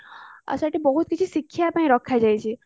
ଆଚ୍ଛା ଏଇଠି ବହୁତ କିଛି ଶିଖିବାପାଇଁ ରଖା ଯାଇଛି